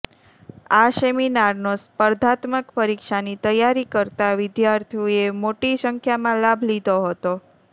આ સેમિનારનો સ્પર્ધાત્મક પરીક્ષાની તૈયારી કરતા વિધાર્થીઓએ મોટી સંખ્યામાં લાભ લીધો હતો